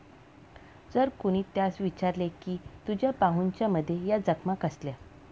जर कोणी त्यास विचारले की तुझ्या बाहूंच्यामध्ये या जखमा कसल्या?